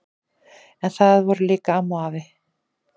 En þar voru líka amma og afi.